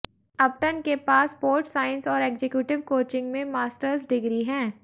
अपटन के पास sports science और एग्जेक्युटिव कोचिंग में मास्टर्स डिग्री हैं